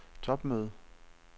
topmøde